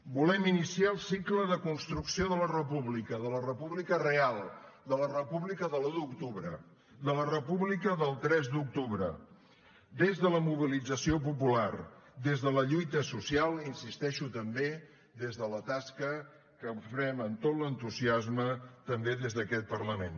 volem iniciar el cicle de construcció de la república de la república real de la república de l’un d’octubre de la república del tres d’octubre des de la mobilització popular des de la lluita social i hi insisteixo també des de la tasca que farem amb tot l’entusiasme també des d’aquest parlament